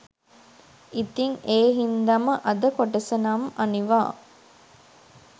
ඉතින් ඒ හින්දම අද කොටස නම් අනිවා